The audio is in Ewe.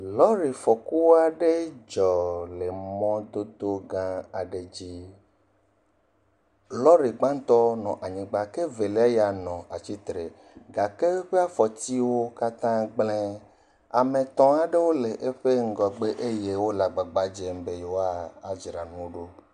Lɔ̃rifɔku aɖe dzɔ le mɔdodo gã aɖe dzi, lɔ̃ri gbãtɔ nɔ anyigba ke velia ya nɔ atsitre gake eƒe afɔtiwo katã gblẽ, ame etɔ̃ aɖewo le eƒe ŋgɔgbe eye wole agbagba dzem be yewoadzra enuwo ɖo.